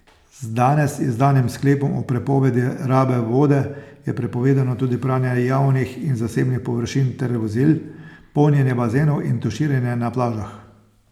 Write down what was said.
Z danes izdanim sklepom o prepovedi rabe vode je prepovedano tudi pranje javnih in zasebnih površin ter vozil, polnjenje bazenov in tuširanje na plažah.